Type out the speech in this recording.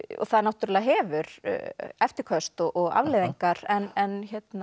það náttúrulega hefur eftirköst og afleiðingar en